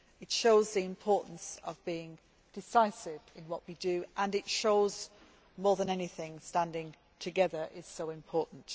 it shows the importance of being decisive in what we do, and it shows more than anything that standing together is so important.